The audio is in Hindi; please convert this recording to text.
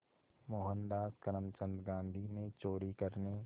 मोहनदास करमचंद गांधी ने चोरी करने